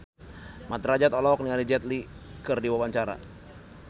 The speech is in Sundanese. Mat Drajat olohok ningali Jet Li keur diwawancara